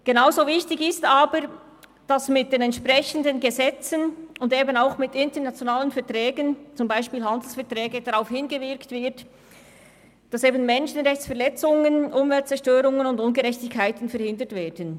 Genauso wichtig ist es aber, dass mit den entsprechenden Gesetzen und mit internationalen Verträgen wie zum Beispiel Handelsverträgen darauf hingewirkt wird, Menschenrechtsverletzungen und Umweltzerstörung zu verhindern.